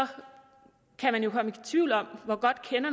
kan man komme i tvivl om hvor godt